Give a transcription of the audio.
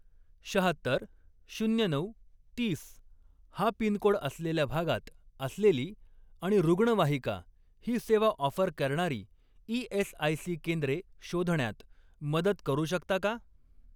शहात्तर, शून्य नऊ, तीस हा पिनकोड असलेल्या भागात असलेली आणि रुग्णवाहिका ही सेवा ऑफर करणारी ई.एस.आय.सी. केंद्रे शोधण्यात मदत करू शकता का?